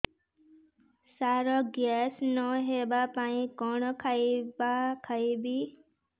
ସାର gas ନ ହେବା ପାଇଁ କଣ ଖାଇବା ଖାଇବି